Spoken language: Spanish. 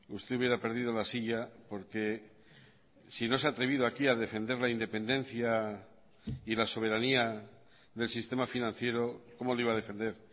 usted hubiera perdido la silla porque si no se ha atrevido aquí a defender la independencia y la soberanía del sistema financiero cómo le iba a defender